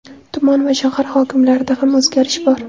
Tuman va shahar hokimlarida ham o‘zgarish bor.